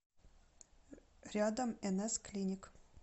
рядом нс клиник